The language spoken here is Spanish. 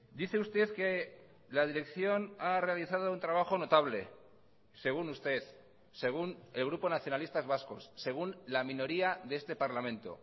dice usted que la dirección ha realizado un trabajo notable según usted según el grupo nacionalistas vascos según la minoría de este parlamento